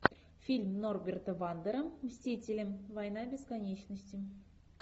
фильм норберта вандера мстители война бесконечности